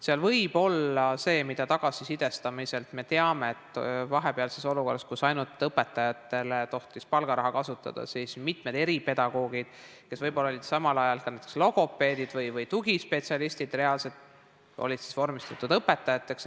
Seal võib olla ka see juures, mida me tagasisidest teame, et vahepealses olukorras, kus ainult õpetajatele tohtis palgaraha kasutada, mitmed eripedagoogid, kes võib-olla olid samal ajal ka näiteks reaalselt logopeedid või tugispetsialistid, olid vormistatud õpetajateks.